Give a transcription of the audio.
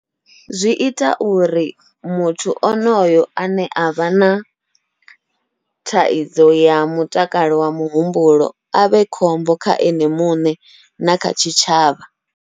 Zwi ita uri muthu onoyo ane avha na thaidzo ya mutakalo wa muhumbulo avhe khombo kha ene muṋe na kha tshitshavha.